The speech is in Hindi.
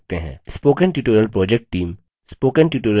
spoken tutorial project team